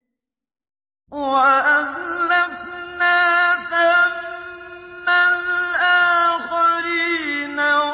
وَأَزْلَفْنَا ثَمَّ الْآخَرِينَ